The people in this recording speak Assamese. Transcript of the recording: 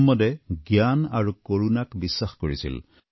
মহম্মদে জ্ঞান আৰু কৰুণাক বিশ্বাস কৰিছিল